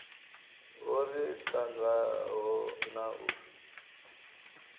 ho ri tangaho na u